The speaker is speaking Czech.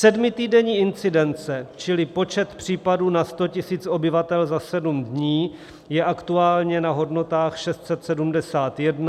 Sedmitýdenní incidence čili počet případů na 100 000 obyvatel za sedm dní, je aktuálně na hodnotách 671 a opět je nejvyšší od 13. ledna.